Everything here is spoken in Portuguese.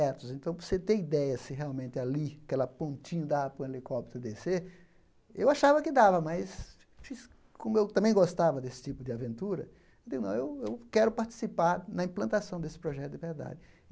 então, para você ter ideia se realmente ali aquela pontinha dá para o helicóptero descer, eu achava que dava, mas como eu também gostava desse tipo de aventura, eu digo, não, eu eu quero participar na implantação desse projeto de verdade.